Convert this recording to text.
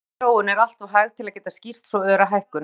Líffræðileg þróun er alltof hæg til að geta skýrt svo öra hækkun.